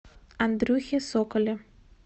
андрюхе соколе